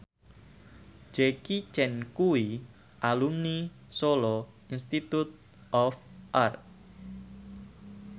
Jackie Chan kuwi alumni Solo Institute of Art